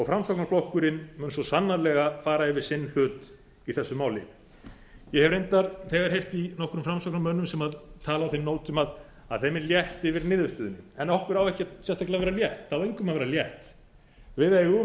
framsóknarflokkurinn mun svo sannarlega fara yfir sinn hlut í þessu máli ég hef reyndar þegar heyrt í nokkrum framsóknarmönnum sem tala á þeim nótum að þeim er létt yfir niðurstöðunni en okkur á ekkert sérstaklega að vera létt það á engum að vera létt við eigum